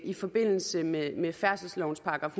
i forbindelse med med færdselslovens §